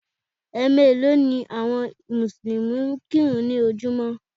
Ẹ̀ meèló ni àwọn Mùsùlùmí ń kírun ní ojúmọ́